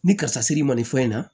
Ni karisa siri ma nin fɛn in na